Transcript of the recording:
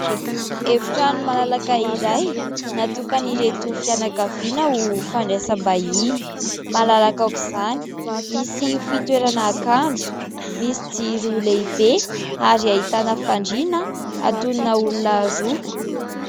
Efitrano malalaka iray natokan'ireto fianankaviana ho fandraisambahiny. Malalaka aok'izany, misy fitoerana akanjo, misy jiro lehibe ary ahitana fandriana atonina olona roa.